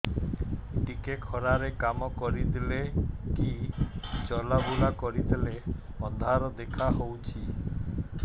ଟିକେ ଖରା ରେ କାମ କରିଦେଲେ କି ଚଲବୁଲା କରିଦେଲେ ଅନ୍ଧାର ଦେଖା ହଉଚି